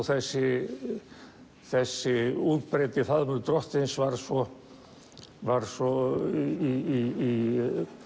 þessi þessi útbreiddi faðmur drottins var svo var svo í